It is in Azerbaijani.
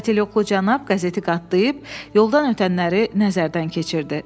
Katelyoklu cənab qəzeti qatlayıb yoldan ötənləri nəzərdən keçirdi.